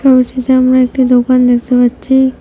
এই সে সামনে একটা দোকান দেখতে পাচ্ছি।